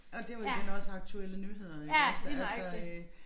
Og det var den også aktuelle nyheder iggås der altså øh